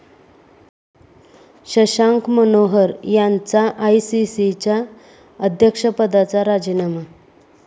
शशांक मनोहर यांचा आयसीसीच्या अध्यक्षपदाचा राजीनामा